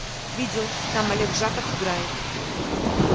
видел там олег жаков играет